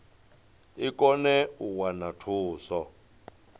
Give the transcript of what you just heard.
i kone u wana thuso